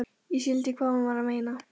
Ég skildi hvað hún var að meina.